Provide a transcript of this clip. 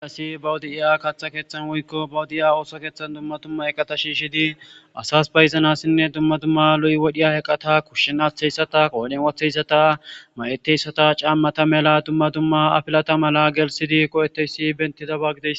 Assi bawudi'iya kaaththa keeththan woykko bawudi'ya ooso keeththan dumma tumma eqata shiishidi asas bayznassinne dumma tumma luy wodhiya eqata kushshin aththeyssata qooden wotheysata may'eteyssata caammata mela dumma dumma afilata mala gelsidi qo'etteyssi bentida baggide.